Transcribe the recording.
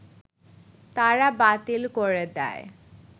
তারা বাতিল করে দেয়